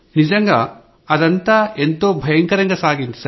నిజంగా అదంతా ఎంతో భయంకరంగా సాగింది